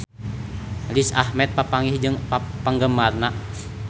Riz Ahmed papanggih jeung penggemarna